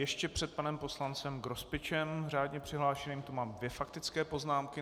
Ještě před panem poslancem Grospičem řádně přihlášeným tu mám dvě faktické poznámky.